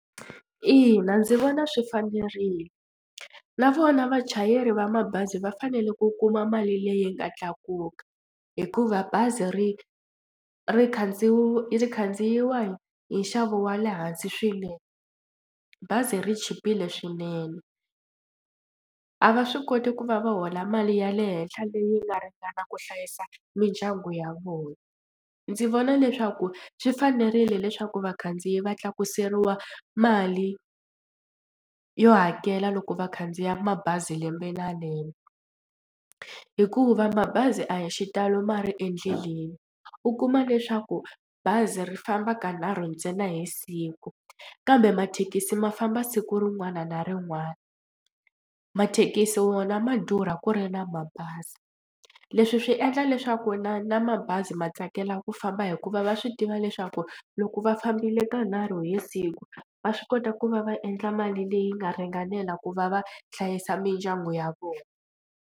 Ina, ndzi vona swi fanerile na vona vachayeri va mabazi va fanele ku kuma mali leyi nga tlakuka hikuva bazi ri ri ri khandziyiwa hi hi nxavo wa le hansi swinene bazi ri chipile swinene a va swi koti ku va va hola mali ya le henhla leyi nga ringana ku hlayisa mindyangu ya vona. Ndzi vona leswaku swi fanerile leswaku vakhandziyi va tlakuseriwa mali yo hakela loko va khandziya mabazi lembe na lembe hikuva mabazi a hi xitalo ma ri endleleni u kuma leswaku bazi ri famba ka nharhu ntsena hi siku kambe mathekisi ma famba siku rin'wana na rin'wana. Mathekisi wona ma durha ku ri na mabazi leswi swi endla leswaku na na mabazi ma tsakela ku famba hikuva va swi tiva leswaku loko va fambile ka nharhu hi siku va swi kota ku va va endla mali leyi nga ringanela ku va va hlayisa mindyangu ya vona.